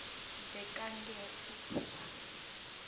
bekangetfuswa